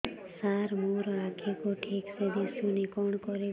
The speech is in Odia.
ସାର ମୋର ଆଖି କୁ ଠିକସେ ଦିଶୁନି କଣ କରିବି